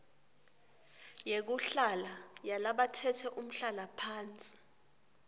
yekuhlala yalabatsetse umhlalaphansi